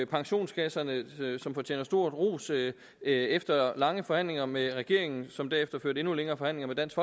pensionskasserne som fortjener stor ros efter lange forhandlinger med regeringen som derefter førte endnu længere forhandlinger med dansk